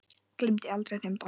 Gleymi aldrei þeim dansi.